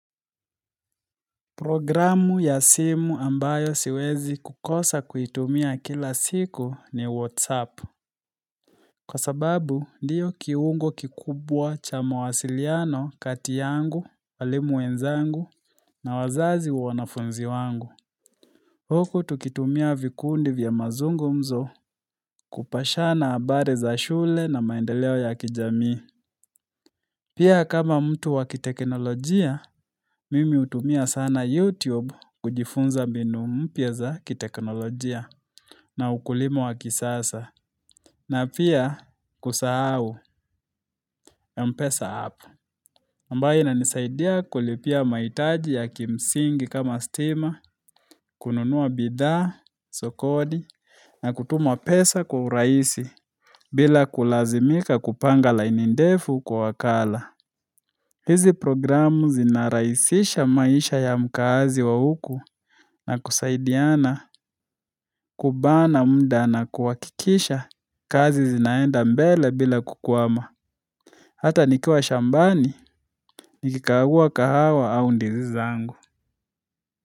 Programu ya simu ambayo siwezi kukosa kuitumia kila siku ni WhatsApp. Kwa sababu, ndiyo kiungo kikubwa cha mawasiliano kati yangu, walimu wenzangu na wazazi wa wanafunzi wangu. Huku tukitumia vikundi vya mazungumzo kupashana habari za shule na maendeleo ya kijamii. Programu ya simu ambayo siwezi kukosa kuitumia kila siku ni WhatsApp. Na pia kusahau, M-pesa app ambayo inanisaidia kulipia mahitaji ya kimsingi kama stima, kununua bidhaa sokoni na kutuma pesa kwa urahisi bila kulazimika kupanga laini ndefu kwa wakala hizi programmu zinarahisisha maisha ya mkaazi wa huku na kusaidiana, kubana muda na kuhakikisha kazi zinaenda mbali bila kukwama hata nikiwa shambani, nilikagua kahawa au ndizi zangu.